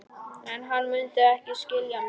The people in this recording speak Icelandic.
En hann mundi ekki skilja mig.